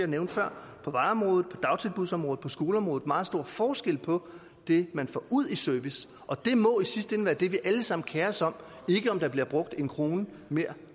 nævnte før på vejområdet på dagtilbudsområdet på skoleområdet meget stor forskel på det man får ud i service og det må i sidste ende være det vi alle sammen kerer os om ikke om der bliver brugt en krone mere